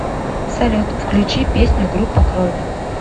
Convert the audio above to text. салют включи песню группа крови